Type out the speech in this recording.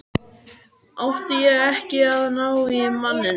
Átti ég ekki að ná í manninn?